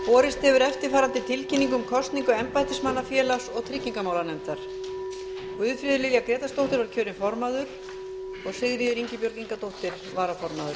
borist hefur eftirfarandi tilkynning um kosningu embættismanna félags og tryggingamálanefndar formaður guðfríður lilja grétarsdóttir varaformaður sigríður ingibjörg ingadóttir